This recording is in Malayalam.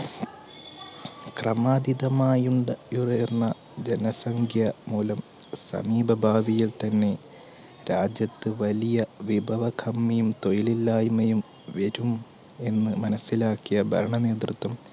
ക്രമാധീദമായുണ്ട് ഉയർന്ന ജനസംഖ്യ മൂലം സമീപ ഭാവിയെ തന്നെ രാജ്യത്ത് വലിയ വിപവകമ്മിയും തൊയില്ലില്ലായ്മയും വെരും എന്ന് മനസിലാക്കിയ ഭരണനേതൃത്വം